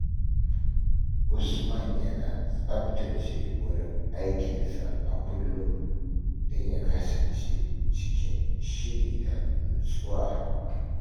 Usman yana tsaftace wurin aikinsa a kullum don ya kasance cikin shiri da nutsuwa.